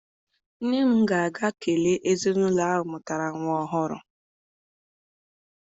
Nne m ga-aga kelee ezinaụlọ ahụ mụtara nwa ọhụrụ.